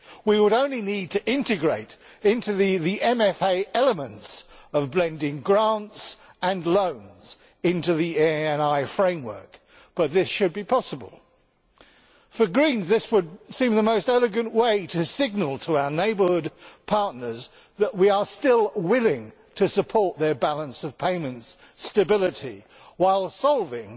We would only need to integrate the MFA elements when blending grants and loans into the ENI framework, but this should be possible. For Greens this would seem to be the most elegant way to signal to our neighbourhood partners that we are still willing to support their balance of payments stability while solving